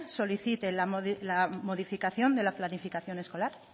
solicite la modificación de la planificación escolar